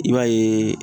I b'a yeee